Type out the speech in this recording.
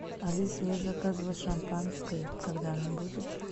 алиса я заказывала шампанское когда оно будет